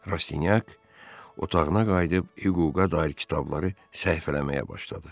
Rastinyak otağına qayıdıb hüquqa dair kitabları səhifələməyə başladı.